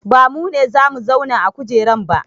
Ba mu ne za mu zauna a kujeran ba